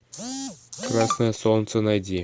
красное солнце найди